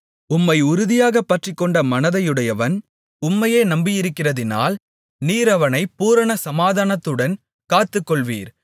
உம்மை உறுதியாகப் பற்றிக்கொண்ட மனதையுடையவன் உம்மையே நம்பியிருக்கிறதினால் நீர் அவனைப் பூரண சமாதானத்துடன் காத்துக்கொள்வீர்